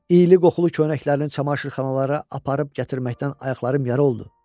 İyli-qoxulu köynəklərini çamaşırxanalara aparıb-gətirməkdən ayaqlarım yara oldu.